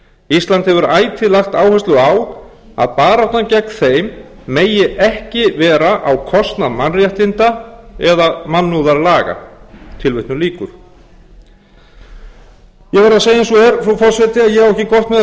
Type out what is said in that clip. ísland hefur ætíð lagt áherslu á að baráttan gegn þeim megi ekki vera á kostnað mannréttinda eða mannúðarlaga ég verð að segja eins og er frú forseti að ég á ekki gott með að